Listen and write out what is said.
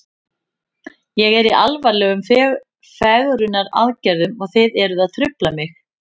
Ég er í alvarlegum fegrunaraðgerðum og þið eruð að trufla mig.